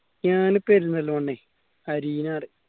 ഞാന്